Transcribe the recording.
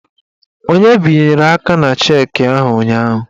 Onye binyere aka na cheki ahụ ụnyaahụ?